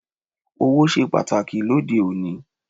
Ọ̀wọ̀ ṣe pàtàkì lóde òní